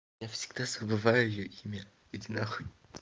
я всегда забываю её имя иди на хуй